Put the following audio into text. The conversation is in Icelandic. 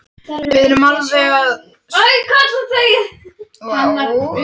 Svo smokraði hún sér út um dyrnar og sagði niðurlút